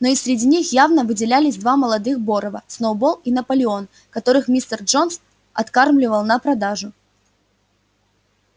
но и среди них явно выделялись два молодых борова сноуболл и наполеон которых мистер джонс откармливал на продажу